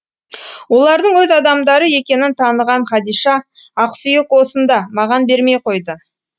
олардың өз адамдары екенін таныған хадиша ақсүйек осында маған бермей қойды